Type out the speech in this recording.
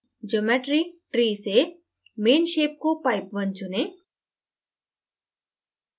geometry tree से main shape को pipe _ 1 चुनें